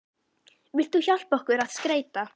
Vilt þú hjálpa okkur að skreyta?